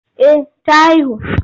Eh ta haihu.